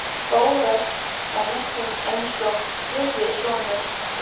Bóas var næstum eins og þriðji sonur